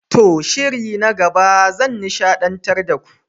To! shiri na gaba zan nishadantar da ku.